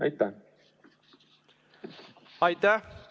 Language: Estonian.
Aitäh!